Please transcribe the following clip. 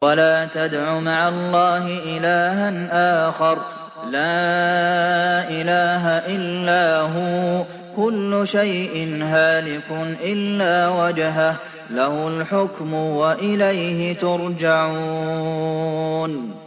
وَلَا تَدْعُ مَعَ اللَّهِ إِلَٰهًا آخَرَ ۘ لَا إِلَٰهَ إِلَّا هُوَ ۚ كُلُّ شَيْءٍ هَالِكٌ إِلَّا وَجْهَهُ ۚ لَهُ الْحُكْمُ وَإِلَيْهِ تُرْجَعُونَ